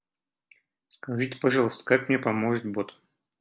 скажите пожалуйста как мне поможет бот